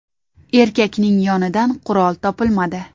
Erkakning yonidan qurol topilmadi.